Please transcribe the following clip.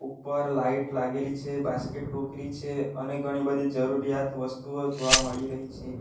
ઉપર લાઈટ લાગેલી છે બાસ્કેટ ટોકરી છે અને ઘણી બધી જરૂરિયાત વસ્તુઓ જોવા મળી રહી છે.